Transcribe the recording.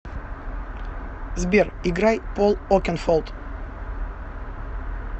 сбер играй пол окенфолд